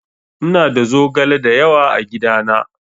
Ina da zogale dayawa a gidana.